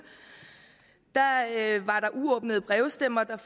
var der uåbnede brevstemmer der